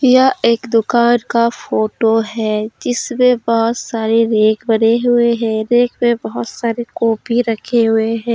यह एक दुकान का फोटो है जिसमें बहुत सारी रेंक बने हुए हैं रेक पे बहुत सारी कॉपी रखे हुए हैं।